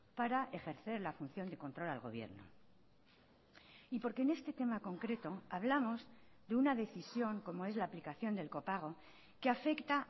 para ejercer la función de control al gobierno y porque en este tema concreto hablamos de una decisión como es la aplicación del copago que afecta